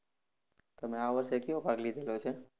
તમે આ વર્ષે કેવો પાક લીધેલો છે?